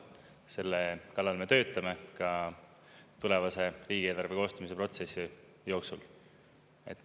Selle kallal me töötame ka tulevase riigieelarve koostamise protsessi jooksul.